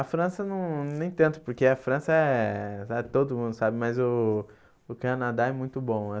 A França não nem tanto, porque a França é... todo mundo sabe, mas o o Canadá é muito bom.